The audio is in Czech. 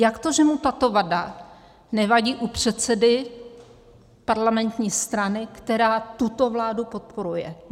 Jak to, že mu tato vada nevadí u předsedy parlamentní strany, která tuto vládu podporuje?